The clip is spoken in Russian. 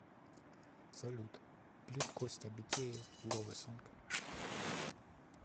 салют клип костя битеев ловесонг